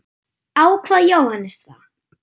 Ákvað Jóhannes það?